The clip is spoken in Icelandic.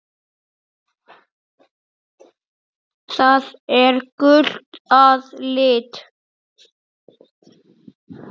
Það er gult að lit.